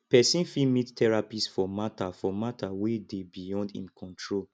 persin fit meet therapist for matter for matter wey de beyond im control